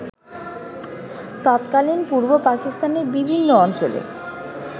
তৎকালীন পূর্ব পাকিস্তানের বিভিন্ন অঞ্চলে